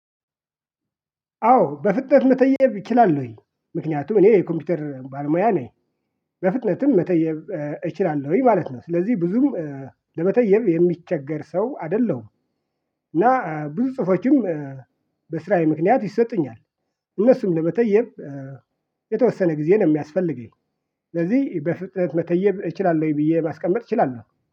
አዎ በፍጥነት መተየብ እችላለሁ ወይ? ምክንያቱም እኔ የኮምፒውተር ባልሙያ ነኝ በፍጥነትም መተየብ እችላለሁኝ ማለት ነው። ስለዚህ ብዙም ለመተየብ የሚቸገር ሰው አይደለሁም። እና ብዙ ጽሁፎችም በስራዬ ምክንያት ይሰጡኛል እነሱም ለመተየብ የተወሰነ ጊዜ ነው የሚያስፈልገኝ። ስለዚህ በፍጥነት መተየብ እችላለሁ ወይ ብዬ ማስቀመጥ እችላለሁ